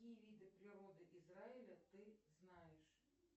какие виды природы израиля ты знаешь